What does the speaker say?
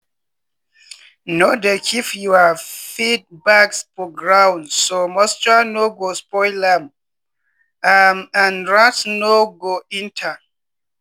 no dey keep your feed bags for ground so moisture no go spoil am am and rats no go enter.